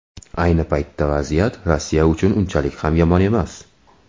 Ayni paytda vaziyat Rossiya uchun unchalik ham yomon emas.